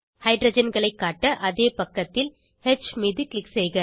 ஹைட்ரஜன்களை காட்ட அதே பக்கத்தில் ஹ் மீது க்ளிக் செய்க